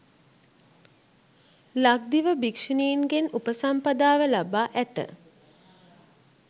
ලක්දිව භික්‍ෂුණීන්ගෙන් උපසම්පදාව ලබා ඇත